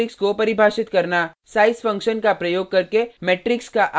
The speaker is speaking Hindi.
size फंक्शन का प्रयोग करके मेट्रिक्स का आकार ज्ञात करना